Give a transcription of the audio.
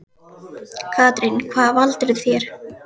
Katrín: Hvað valdirðu þér?